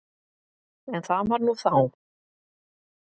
En það var nú þá.